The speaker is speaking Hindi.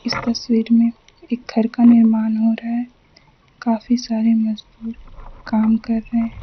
इस तस्वीर में एक घर का निर्माण हो रहा है काफी सारे मजदूर काम कर रहे हैं।